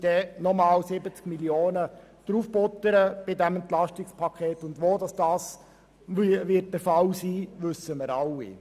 Mit der Annahme dieses Antrags müssten wir das EP noch um 70 Mio. Franken ergänzen, und wir alle wissen, wo das dann der Fall wäre.